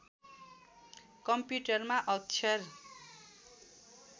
कम्प्युटरमा अक्षर